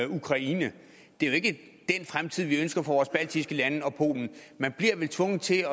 ukraine det er jo ikke den fremtid vi ønsker for vores baltiske lande og polen man bliver vel tvunget til